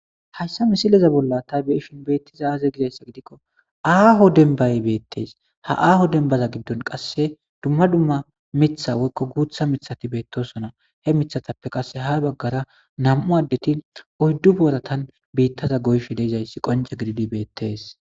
Hayssa misileza bolla taybeishin beettiza aaze gizayssa gidikko aaho denbay beettees ha aaho denbaza giddon qasse dumma dumma mitha woykko guutha mithati beettosona he mithatappe qasse ha baggara nam'u addeti oyddu booratan biittaza goyshe deizayssi qonce gididi beettes.